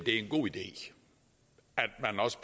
er en god idé